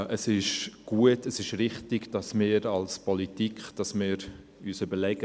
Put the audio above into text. Es ist gut, es ist richtig, dass wir uns in der Politik überlegen: